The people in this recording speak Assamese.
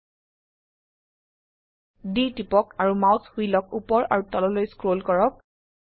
D টিপক আৰু মাউস হুইলক উপৰ আৰু তললৈ স্ক্ৰল কৰক